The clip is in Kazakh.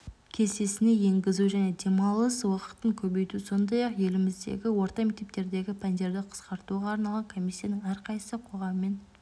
кестесіне енгізу және демалыс уақытын көбейту сондай-ақ еліміздегі орта мектептердегі пәндерді қысқартуға арналған комиссияның әрқайсысы қоғаммен